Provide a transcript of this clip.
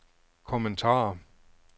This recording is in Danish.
kommentarer